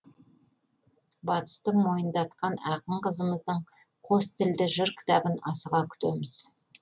батысты мойындатқан ақын қызымыздың қос тілді жыр кітабын асыға күтеміз